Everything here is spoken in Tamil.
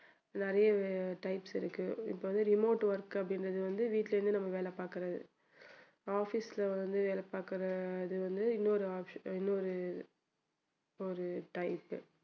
நிறைய types இருக்கு இப்போ வந்து remote work அப்படின்றது வந்து வீட்ல இருந்து நம்ம வேலை பாக்குறது office ல வந்து வேலை பாக்குறது அது வந்து இன்னொரு ஆப்ஸ~ இன்னொரு ஒரு type